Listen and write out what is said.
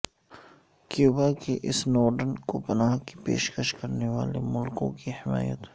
Cuba کی Snowden کو پناہ کی پیشکش کرنے والے ملکوں کی حمایت